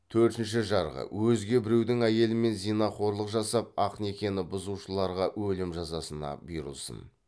төртінші жарғы өзге біреудің әйелімен зинақорлық жасап ақ некені бұзушыларға өлім жазасына бұйырылсын